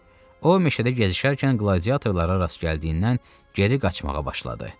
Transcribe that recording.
O meşədə gəzişərkən qladiatorlara rast gəldiyindən geri qaçmağa başladı.